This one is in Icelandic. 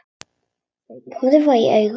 Þau horfast í augu.